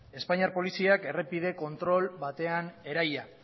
espainiar poliziak errepide kontrol batean eraila